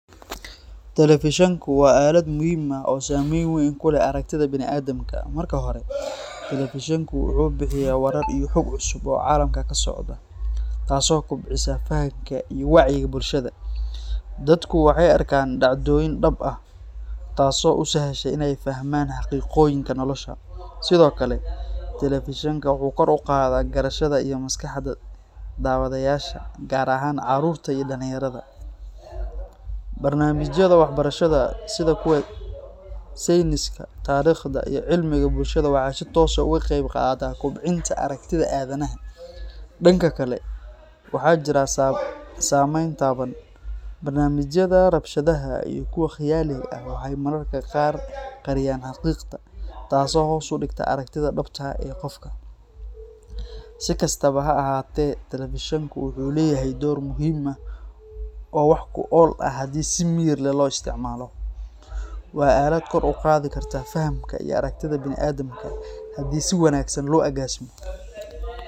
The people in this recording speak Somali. Telefishanku waa aalad muhiim ah oo saamayn weyn ku leh aragtida bini’aadamka. Marka hore, telefishanku wuxuu bixiyaa warar iyo xog cusub oo caalamka ka socda, taasoo kobcisa fahamka iyo wacyiga bulshada. Dadku waxay arkaan dhacdooyin dhab ah, taasoo u sahasha in ay fahmaan xaqiiqooyinka nolosha. Sidoo kale, telefishanka wuxuu kor u qaadaa garashada iyo maskaxda daawadayaasha, gaar ahaan carruurta iyo dhallinyarada. Barnaamijyada waxbarashada sida kuwa sayniska, taariikhda, iyo cilmiga bulshada waxay si toos ah uga qayb qaataan kobcinta aragtida aadanaha .Dhanka kale, waxaa jira saameyn taban. Barnaamijyada rabshadaha iyo kuwa khiyaaliga ah waxay mararka qaar qariyaan xaqiiqda, taasoo hoos u dhigta aragtida dhabta ah ee qofka. Si kastaba ha ahaatee, telefishanku wuxuu leeyahay door muhiim ah oo wax ku ool ah haddii si miyir leh loo isticmaalo. Waa aalad kor u qaadi karta fahamka iyo aragtida bini’aadamka haddii si wanaagsan loo agaasimo.